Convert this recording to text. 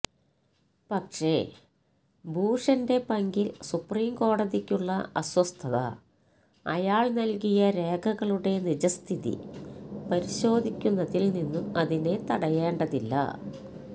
പക്ഷേ ഭൂഷന്റെ പങ്കില് സുപ്രീം കോടതിക്കുള്ള അസ്വസ്ഥത അയാള് നല്കിയ രേഖകളുടെ നിജസ്ഥിതി പരിശോധിക്കുന്നതില് നിന്നും അതിനെ തടയേണ്ടതില്ല